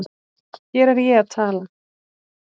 Hér er ég að tala